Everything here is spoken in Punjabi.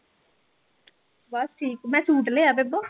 ਬਸ ਠੀਕ ਮੈਂ ਸੂਟ ਲਿਆ ਬੇਬੋ